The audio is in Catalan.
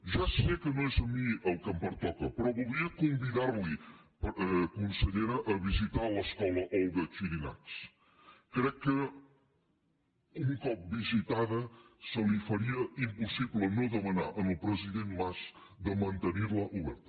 ja sé que no és a mi a qui pertoca però voldria convidar la consellera a visitar l’escola olga xirinacs crec que un cop visitada se li faria impossible no demanar al president mas de mantenir la oberta